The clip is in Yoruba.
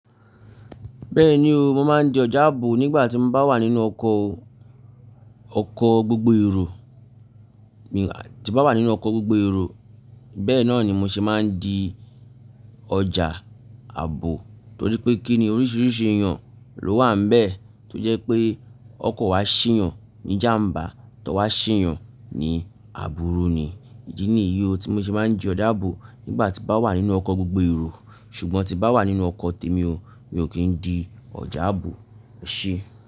Bẹ́ẹ̀ni o, mo máa ń di ọjà ààbò nígbà tí mo bá wà nínú ọkọ̀, ọkọ̀ gbogbo èrò. Tí bá wà nínú ọkọ̀ gbogbo èrò bẹ́ẹ̀ náà ni mo ṣe máa ń di ọjà ààbò torí pé kíni oríṣiríṣi èèyàn ló wà níbẹ̀ tó jẹ́ pé ọkọ̀ wa ṣì yàn ní jàmbá tọ wá ṣì yàn ní àbúrú ni. Ìdí ni ìyí o tí mo ṣe máa ń di ọjà ààbò nígbà tí bá wà nínú ọkọ̀ gbogbo èrò ṣùgbọ́n tí bá wà nínú ọkọ̀ tèmi o, mi ò kí ń di ọjà ààbò e ṣe.